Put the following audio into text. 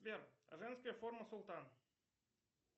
сбер женская форма султан